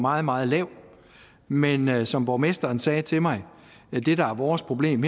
meget meget lav men men som borgmesteren sagde til mig det der er vores problem